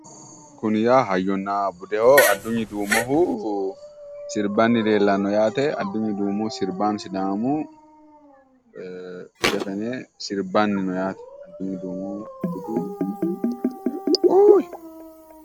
Kuni yaa hayyonna budeho Adunyi duumohu sirbbanni leellanno yaate Adunyi duumohu sirbaanchu sidaamu zefene sirbbanni no yaate.